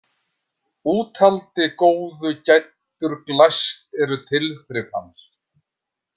Úthaldi góðu gæddur glæst eru tilþrif hans.